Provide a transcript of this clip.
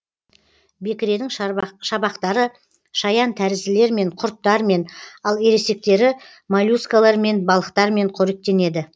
бекіренің шабақтары шаян тәрізділермен құрттармен ал ересектері моллюскілермен балықтармен қоректенеді